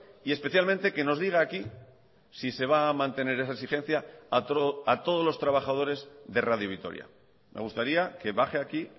y especialmente que nos diga aquí si se va a mantener esa exigencia a todos los trabajadores de radio vitoria me gustaría que baje aquí